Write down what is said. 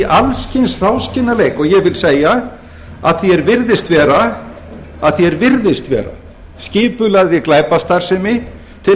alls kyns hráskinnaleik og ég vil segja að því er virðist vera að því er virðist vera skipulagðri glæpastarfsemi til